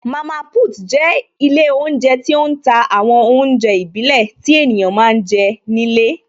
Mama put jẹ́ ilé oúnjẹ tí ó ń ta àwọn oúnjẹ ìbílẹ̀ tí ènìyàn máa ń jẹ ní ilé